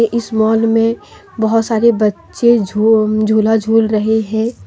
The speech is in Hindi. इस मॉल में बहुत सारे बच्चे झूला झूल रहे हैं।